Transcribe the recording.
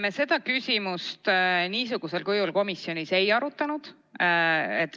Me seda küsimust niisugusel kujul komisjonis ei arutanud.